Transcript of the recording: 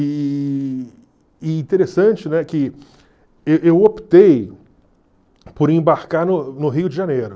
E e interessante, né, que e eu optei por embarcar no no Rio de Janeiro.